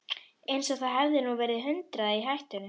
Eins og það hefði nú verið hundrað í hættunni.